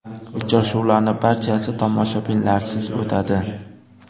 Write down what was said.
Uchrashuvlarning barchasi tomoshabinlarsiz o‘tadi.